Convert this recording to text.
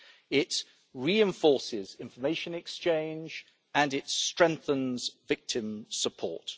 It reinforces information exchange and it strengthens victim support.